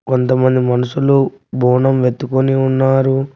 కొంతమంది మనుషులు బోనం ఎత్తుకుని ఉన్నారు.